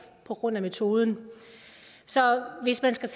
på grund af metoden så hvis man skal